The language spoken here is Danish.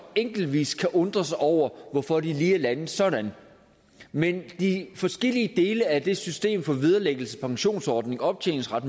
enkeltvis kan undre sig over hvorfor det lige er landet sådan men de forskellige dele af det system for vederlæggelse pensionsordning optjeningsret